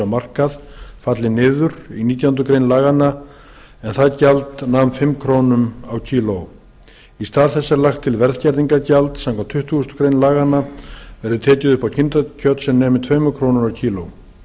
á markað falli niður í nítjánda grein laganna en það gjald nam fimm krónur á kíló í stað þess er lagt til að verðskerðingargjald samkvæmt tuttugustu greinar laganna verði tekið upp á kindakjöt sem nemi tveimur krónum á kíló